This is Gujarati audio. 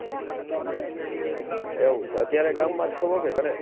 એવું છે અત્યારે ગામમાં જ છો કે ઘરે?